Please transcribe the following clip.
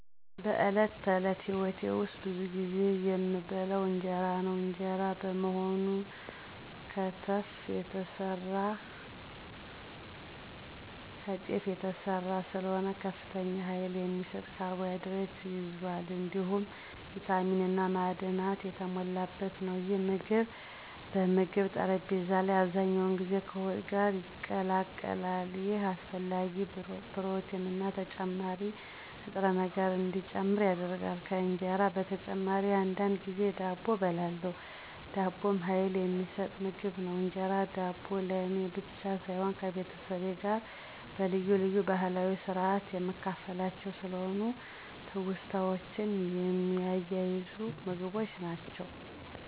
በዕለት ተዕለት ሕይወቴ ውስጥ ብዙ ጊዜ የምበላው እንጀራ ነው። እንጀራ በመሆኑ ከተፍ የተሰራ ስለሆነ ከፍተኛ ኃይል የሚሰጥ ካርቦሃይድሬት ይዟል፣ እንዲሁም ቪታሚን እና ማዕድናት የተሞላበት ነው። ይህ ምግብ በምግብ ጠረጴዛ ላይ አብዛኛውን ጊዜ ከወጥ ጋር ይቀላቀላል፣ ይህም አስፈላጊ ፕሮቲንና ተጨማሪ ንጥረ ነገር እንዲጨምር ያደርጋል። ከእንጀራ በተጨማሪ አንዳንድ ጊዜ ዳቦ እበላለሁ። ዳቦም ኃይል የሚሰጥ ምግብ ነው። እንጀራና ዳቦ ለእኔ ብቻ ሳይሆን ከቤተሰቤ ጋር በልዩ ልዩ ባህላዊ ስርአት የምካፈላቸውም ስለሆኑ ትውስታዎችን የሚያያዙ ምግቦች ናቸው።